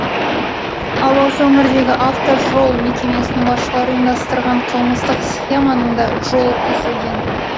ал осы өңірдегі автожол мекемесінің басшылары ұйымдастырған қылмыстық схеманың да жолы кесілген